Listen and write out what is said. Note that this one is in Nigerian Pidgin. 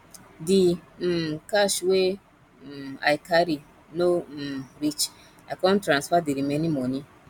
di um cash wey um i carry no um reach i come transfer di remaining moni